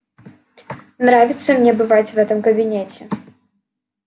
нравится мне бывать в этом кабинете